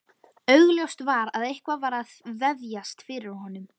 Augljóst var að eitthvað var að vefjast fyrir honum.